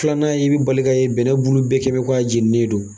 Filanan y' i bɛ balika ye bɛnɛ bulu bɛɛ kɛ b' i ko a jeninen don.